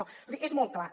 vull dir és molt clar